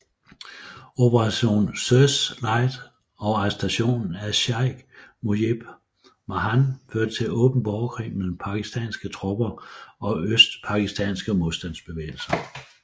Operation Searchlight og arrestationen af Sheik Mujib Rahman førte til åben borgerkrig mellem Pakistanske tropper og Østpakistanske modstandsbevægelse